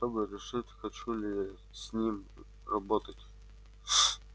чтобы решить хочу ли я с ним работать